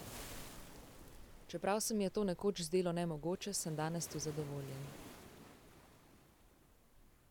Čeprav se mi je to nekoč zdelo nemogoče, sem danes tu zadovoljen.